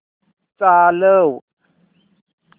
चालव